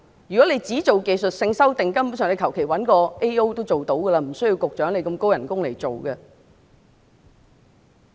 如果當局只作出技術性修訂，根本上隨便找個 AO 也能夠做到，無須由這麼高薪的局長來做。